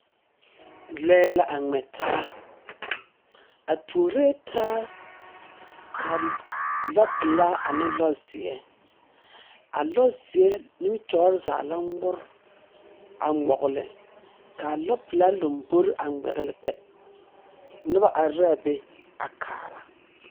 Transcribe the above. Lͻԑ la a ŋmԑ taa. A tuoree taa, kaa lͻpelaa ane a lͻzeԑ. A lͻzeԑ nimitͻͻre zaa la ŋmore a ŋmͻgele, ka a lͻpelaa lombori a ŋmԑgele kpԑ. Noba are la a be a kaara.